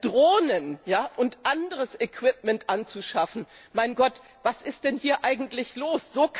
Drohnen und anderes Equipment anzuschaffen mein Gott, was ist denn hier eigentlich los?